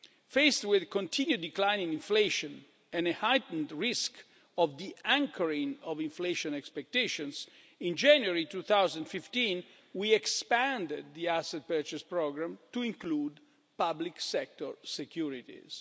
Faced with a continued decline in inflation and a heightened risk of de-anchoring of inflation expectations, in January 2015 we expanded the asset purchase programme to include public sector securities.